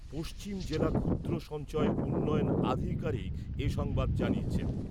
পশ্চিম জেলা ক্ষুদ্র সঞ্চয় উন্নয়ন আধিকারিক এ সংবাদ জানিয়েছেন ।